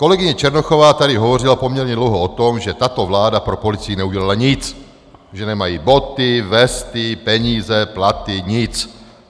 Kolegyně Černochová tady hovořila poměrně dlouho o tom, že tato vláda pro policii neudělala nic, že nemají boty, vesty, peníze, platy, nic.